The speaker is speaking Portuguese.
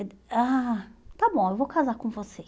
Ele ah, está bom, eu vou casar com você.